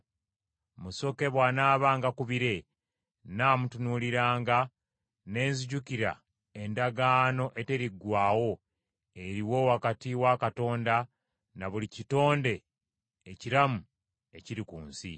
Musoke bw’anaabanga ku bire, nnaamutunuuliranga ne nzijukira endagaano eteriggwaawo eriwo wakati wa Katonda na buli kitonde ekiramu ekiri ku nsi.”